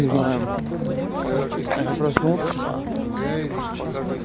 не знаю я проснулся